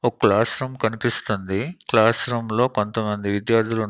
ఒ class room కనిపిస్తుంది class room లో కొంతమంది విద్యార్థులు.